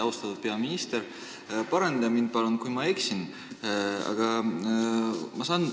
Austatud peaminister, paranda mind palun, kui ma eksin!